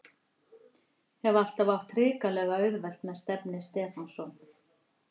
Hef alltaf átt hrikalega auðvelt með Stefni Stefánsson.